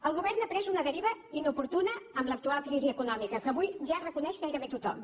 el govern ha pres una deriva inoportuna en l’actual crisi econòmica que avui ja reconeix gairebé tothom